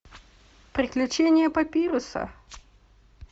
приключения папируса